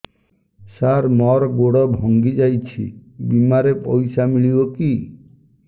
ସାର ମର ଗୋଡ ଭଙ୍ଗି ଯାଇ ଛି ବିମାରେ ପଇସା ମିଳିବ କି